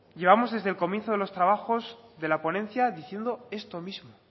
llevamos desde el comienzo de los trabajos de la ponencia diciendo esto mismo